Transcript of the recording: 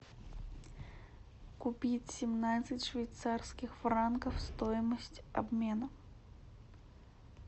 купить семнадцать швейцарских франков стоимость обмена